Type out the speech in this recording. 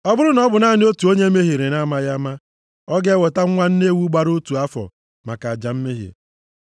“ ‘Ọ bụrụ na ọ bụ naanị otu onye mehiere na-amaghị ama, ọ ga-eweta nwa nne ewu gbara otu afọ maka aja mmehie.